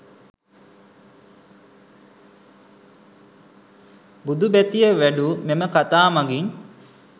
බුදු බැතිය වැඩු මෙම කතා මගින්